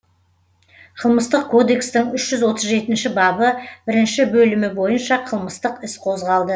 қылмыстық кодекстің үш жүз отыз жетінші бабы бірінші бөлімі бойынша қылмыстық іс қозғалды